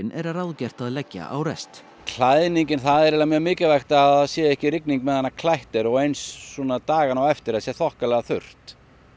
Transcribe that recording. er ráðgert að leggja á rest klæðningin það er eiginlega mjög mikilvægt að það sé ekki rigning á meðan klætt er og eins dagana á eftir að það sé þokkalega þurrt